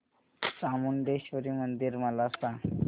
चामुंडेश्वरी मंदिर मला सांग